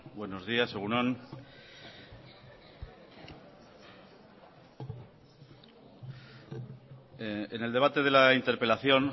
buenos días egun on en el debate de la interpelación